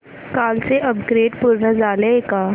कालचं अपग्रेड पूर्ण झालंय का